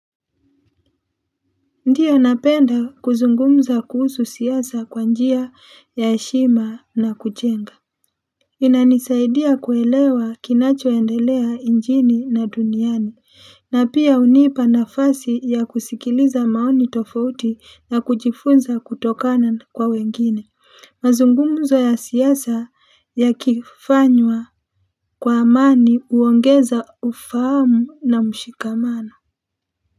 Ndio napenda kuzungumza kuhusu siyasa kwa njia ya heshima na kuchenga inanisaidia kuelewa kinacho endelea njini na duniani na pia unipa na fasi ya kusikiliza maoni tofauti na kujifunza kutokana kwa wengine mazungumzo ya siyasa yakifanywa kwa amani uongeza ufamu na mshikamano.